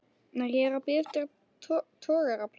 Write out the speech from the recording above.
Nei, ég er að bíða eftir togaraplássi.